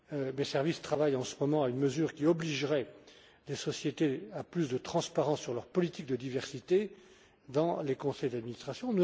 Mes services travaillent en ce moment à une mesure qui obligerait les sociétés à plus de transparence sur leur politique de diversité dans les conseils d'administration.